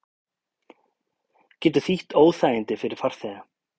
Getur þýtt óþægindi fyrir farþega